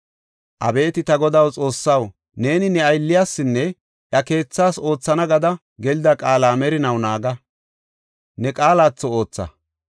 “Abeeti ta Godaw, Xoossaw, neeni ne aylliyasinne iya keethaas oothana gada gelida qaala merinaw naaga; ne qaalatho ootha.